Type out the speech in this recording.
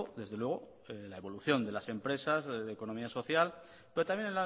desde luego la evolución de las empresas de economía social pero también